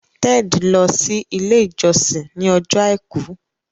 Ted lọ si ile ijọsin ní Ọjọ́ aìkú.